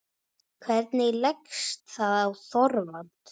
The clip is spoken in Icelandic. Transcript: Hvernig leggst það í Þorvald?